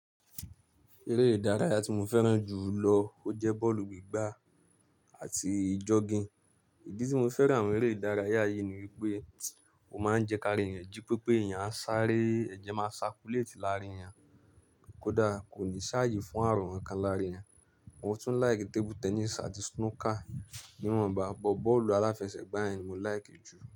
Eré ìdárayá tí mo fẹ́ràn jù lọ ó jẹ́ bọ́ọ̀lù gbígbá àti jogging. Ìdí tí mo fẹ́ràn àwọn eré ìdárayá yìí ni wípé ó máa ń jẹ́ kí ara èèyàn jí pépé, èèyàn a sáré ẹ̀jẹ̀ máa circulate lára èèyàn, kódà kò ní ṣàyè fún àrùn kankan lára èèyàn. Mo tun like table tennis ati snooker niwonba but boolu alafesegba yen ni mo like ju.